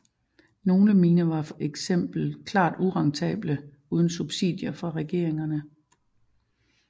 Nogle miner var for eksempel klart urentable uden subsidier fra regeringerne